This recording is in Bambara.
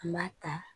N b'a ta